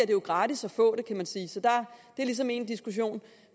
jo gratis at få det kan man sige så det er ligesom én diskussion